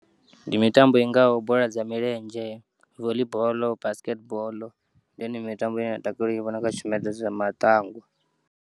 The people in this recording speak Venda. Ndi mitambo ingaho bola dza milenzhe, voli ball, basketball ndiyone mitambo ine nda takalela u yi vhona kha tshumelo dza matangwa.